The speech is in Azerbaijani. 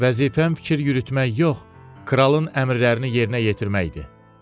Vəzifəm fikir yürütmək yox, kralın əmrlərini yerinə yetirməkdir.